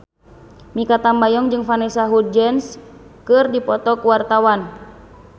Mikha Tambayong jeung Vanessa Hudgens keur dipoto ku wartawan